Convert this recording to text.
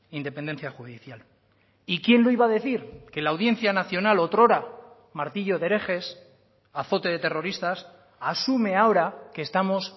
independencia judicial y quién lo iba a decir que la audiencia nacional otrora martillo de herejes azote de terroristas asume ahora que estamos